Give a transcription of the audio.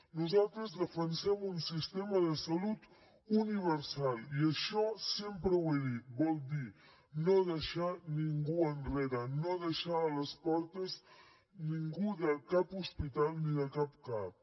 nosaltres defensem un sistema de salut universal i això sempre ho he dit vol dir no deixar ningú enrere no deixar a les portes ningú de cap hospital ni de cap cap